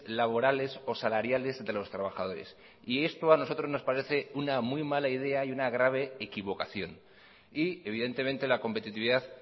laborales o salariales de los trabajadores y esto a nosotros nos parece una muy mala idea y una grave equivocación y evidentemente la competitividad